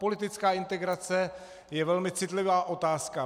Politická integrace je velmi citlivá otázka.